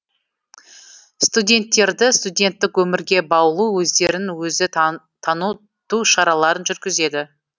студенттерді студенттік өмірге баулу өздерін өзі таныту шараларын жүргізеді